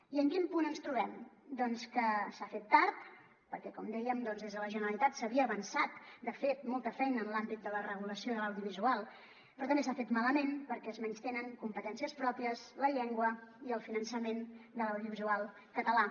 i en quin punt ens trobem doncs que s’ha fet tard perquè com dèiem des de la generalitat s’havia avançat de fet molta feina en l’àmbit de la regulació de l’audio·visual però també s’ha fet malament perquè es menystenen competències pròpies la llengua i el finançament de l’audiovisual català